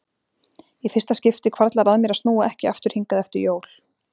Í fyrsta skipti hvarflar að mér að snúa ekki aftur hingað eftir jól.